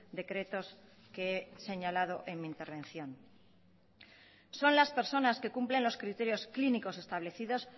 decretos que he señalado en mi intervención son las personas que cumplen los criterios clínicos establecidos